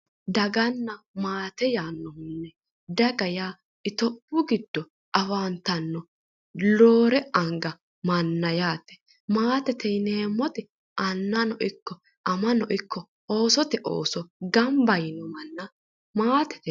Daganna maate yaanno, daga yaa itophiyu giddo afantanno roore anga manna yaate, maatete yineemmoti annano ikko amano ikko oosote ooso gamba yino manna maatete yinanni.